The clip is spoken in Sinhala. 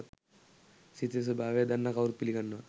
සිතේ ස්වභාවය දන්නා කවුරුත් පිළිගන්නවා.